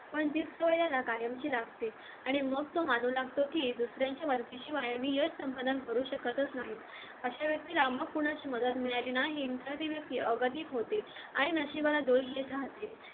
आणि मग तो दुसऱ्यांच्या मदतीशिवाय नाही करू यश संपनन शकत नाही अशा व्यक्तीला मग कोणाची मदत मिळाली नाही ती व्यक्ती अगदी प होते आणि नशिबाला दोष देत राहते